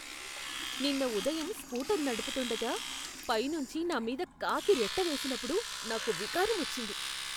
నిన్న ఉదయం స్కూటర్ నడుపుతుండగా పైనుంచి నా మీద కాకిరెట్ట వేసినప్పుడు నాకు వికారం వచ్చింది.